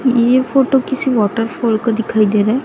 ये फोटो किसी वॉटरफॉल को दिखाई दे रहा है।